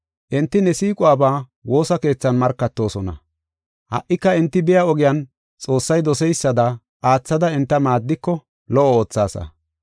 Enti ne siiquwaba woosa keethan markatoosona. Ha77ika enti biya ogiyan Xoossay doseysada oothada enta maaddiko lo77o oothaasa.